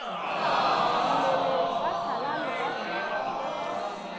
mmelegi ba hlalane ba se